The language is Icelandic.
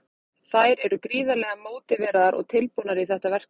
Þær eru gríðarlega mótiveraðar og tilbúnar í þetta verkefni.